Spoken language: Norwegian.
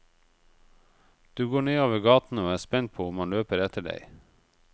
Du går nedover gaten og er spent på om han løper etter deg.